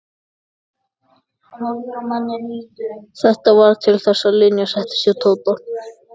Þetta varð til þess að Linja settist að hjá Tóta.